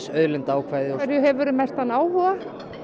auðlindaákvæðið á hverju hefurðu mestan áhuga